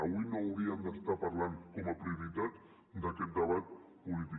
avui no hauríem d’estar parlant com a prioritat d’aquest debat polític